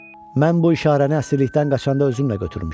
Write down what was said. Mən bu işarəni əsirlikdən qaçanda özümlə götürmüşəm.